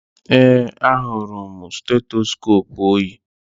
Ee, ahụrụ m stetoskoopu o yi